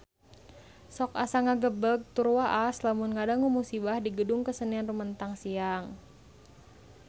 Sok asa ngagebeg tur waas lamun ngadangu musibah di Gedung Kesenian Rumetang Siang